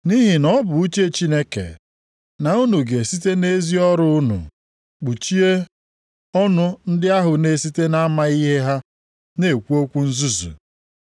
Nʼihi na ọ bụ uche Chineke na unu ga-esite nʼezi ọrụ unu kpuchie ọnụ ndị ahụ na-esite na-amaghị ihe ha, na-ekwu okwu nzuzu.